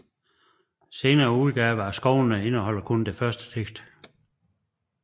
Senere udgaver af Skovene indeholder kun det første digt